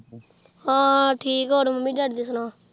ਹਾਂ ਠੀਕ ਹੋਰ ਮੰਮੀ-ਡੈਡੀ ਦੀ ਸੁਣਾ।